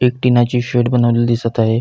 एक शेड बनवलेली दिसत आहे.